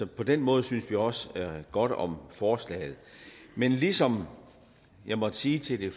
på den måde synes vi også godt om forslaget men ligesom jeg måtte sige til det